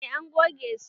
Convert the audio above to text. E, an goge su.